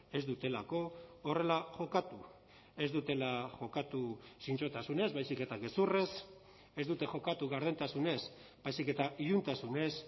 ez dutelako horrela jokatu ez dutela jokatu zintzotasunez baizik eta gezurrez ez dute jokatu gardentasunez baizik eta iluntasunez